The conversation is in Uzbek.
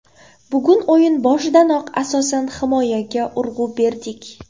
Bugun o‘yin boshidanoq asosan himoyaga urg‘u berdik.